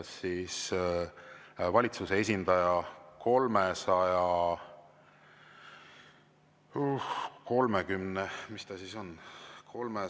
Antud juhul esitas valitsuse esindaja 330… – mis ta siis on?